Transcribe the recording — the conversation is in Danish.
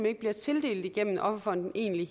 ikke bliver tildelt gennem offerfonden egentlig